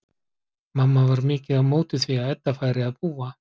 Mamma var mikið á móti því að Edda færi að búa.